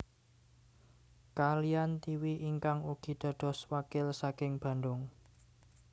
Kaliyan Tiwi ingkang ugi dados wakil saking Bandung